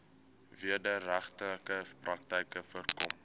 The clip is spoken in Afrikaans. wederregtelike praktyke voorkom